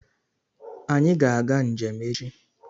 Anyị ga-aga njem echi